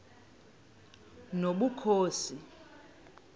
nobukhosi